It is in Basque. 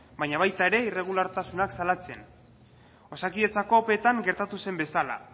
baina baita irregulartasunak salatzen ere osakidetzako opetan gertatu zen bezala